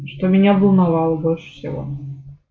что меня волновал больше всего